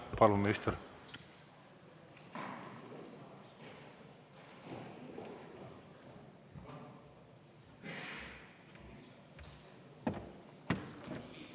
Jah, palun, minister!